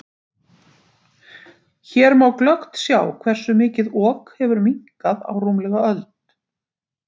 Hér má glöggt sjá hversu mikið Ok hefur minnkað á rúmlega öld.